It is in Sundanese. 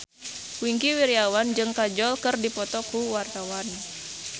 Wingky Wiryawan jeung Kajol keur dipoto ku wartawan